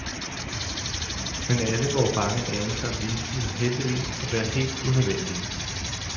Men alle vore bange anelser viste sig heldigvis at være helt unødvendige.